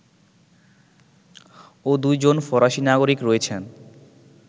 ও দুইজন ফরাসী নাগরিক রয়েছেন